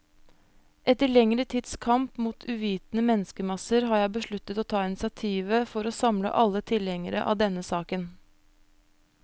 Etter lengre tids kamp mot uvitende menneskemasser, har jeg besluttet å ta initiativet for å samle alle tilhengere av denne saken.